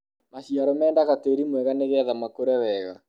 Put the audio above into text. maciaro mendaga tĩri mwega nĩgetha makũre wega